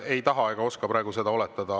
Ei taha ega oska praegu seda oletada.